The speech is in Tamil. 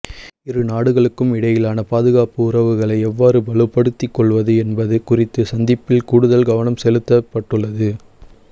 இரு நாடுகளுக்கும் இடையிலான பாதுகாப்பு உறவுகளை எவ்வாறு வலுப்படுத்திக் கொள்வது என்பது குறித்து சந்திப்பில் கூடுதல் கவனம் செலுத்தப்பட்டுள்ளது